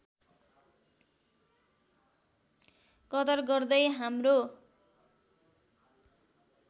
कदर गर्दै हाम्रो